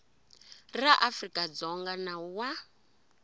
ra afrika dzonga nawu wa